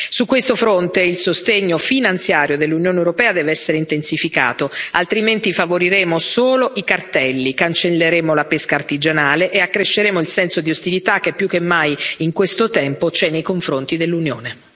Su questo fronte il sostegno finanziario dell'Unione europea deve essere intensificato, altrimenti favoriremo solo i cartelli, cancelleremo la pesca artigianale e accresceremo il senso di ostilità che più che mai in questo tempo c'è nei confronti dell'Unione.